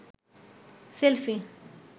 selfie